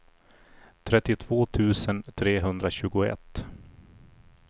trettiotvå tusen trehundratjugoett